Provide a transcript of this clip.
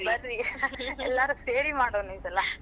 ಬರ್ರೀ ಎಲ್ಲಾರೂ ಸೇರಿ ಮಾಡೋನು ಈ ಸಲಾ.